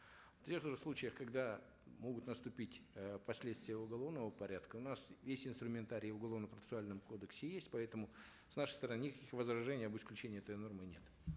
в тех же случаях когда могут наступить э последствия уголовного порядка у нас есть инструментарий в уголовно процессуальном кодексе есть поэтому с нашей стороны никаких возражений об исключении этой нормы нет